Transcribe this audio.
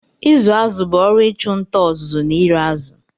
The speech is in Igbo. Ịkụ azụ̀ bụ ọrụ ịchụ nta, ọzụzụ na ire azụ̀.